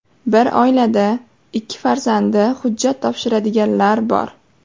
Bir oilada ikki farzandi hujjat topshiradiganlar bor.